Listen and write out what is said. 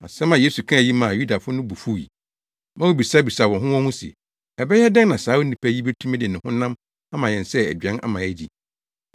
Asɛm a Yesu kaa yi maa Yudafo no bo fuwii, ma wobisabisaa wɔn ho wɔn ho se, “Ɛbɛyɛ dɛn na saa onipa yi betumi de ne honam ama yɛn sɛ aduan ama yɛadi?”